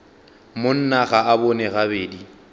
monna ga a bone gabedi